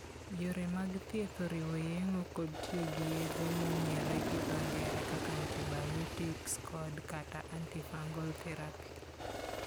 Yore mag thieth oriwo yeng'o kod tiyo gi yedhe mong'ere gi dho ng'ere kaka antibiotics kod/kata anti-fungal therapy.